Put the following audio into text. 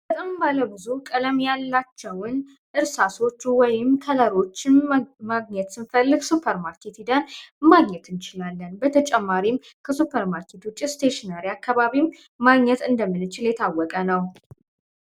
በጣም ባለ ብዙ ቀለም ያላቸውን እርሳቸው ወይም ከለሮችን ማግኘት ስንፈልግ ሱፐርማርኬቲንግ ማግኘት እንችላለን በተጨማሪም አካባቢ ማግኘት እንደምንችል የታወቀ ነው።